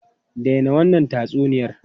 Dai na wannan tatsuniyar!